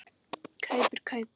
Kaup er kaup.